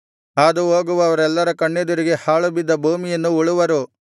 ಹಾದು ಹೋಗುವವರೆಲ್ಲರ ಕಣ್ಣೆದುರಿಗೆ ಹಾಳುಬಿದ್ದು ಭೂಮಿಯನ್ನು ಉಳುವರು